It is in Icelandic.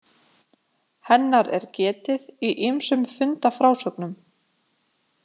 Hennar er getið í ýmsum fundafrásögnum.